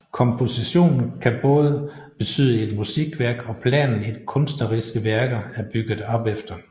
Komposition kan både betyde et musikværk og planen et kunstneriske værker er bygget op efter